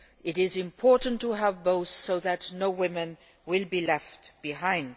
It is important to have both so that no woman will be left behind.